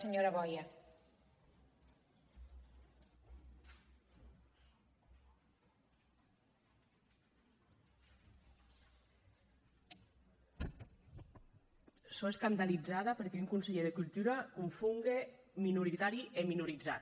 sò escandalizada perque un conselhèr de cultura confon minoritari e minorizat